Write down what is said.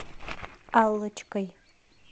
аллочкой